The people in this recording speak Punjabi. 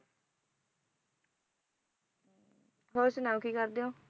ਹੋਰ ਸੁਣਾਉ ਕੀ ਕਰਦੇ ਹੋ